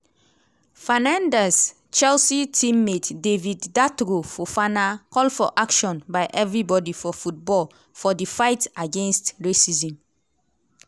fernandez chelsea team-mate david datro fofana call for action by evribodi for football for di "fight" against racism.